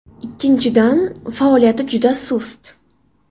Ikkinchidan, faoliyati juda sust.